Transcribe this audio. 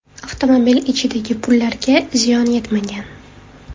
Avtomobil ichidagi pullarga ziyon yetmagan.